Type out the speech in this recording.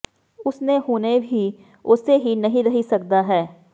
ਉਸ ਨੇ ਹੁਣੇ ਹੀ ਉਸੇ ਹੀ ਨਹੀ ਰਹਿ ਸਕਦਾ ਹੈ